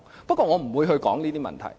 不過，我不會說這些問題。